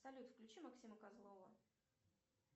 салют включи максима козлова